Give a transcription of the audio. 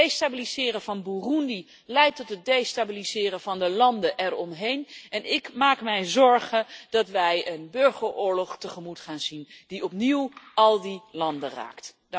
Het destabiliseren van Burundi leidt tot het destabiliseren van de landen eromheen en ik maak mij zorgen dat wij een burgeroorlog tegemoet gaan zien die opnieuw al die landen raakt.